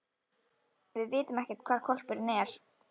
Við vitum ekkert hvar hvolpurinn er.